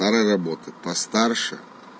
она работает постарше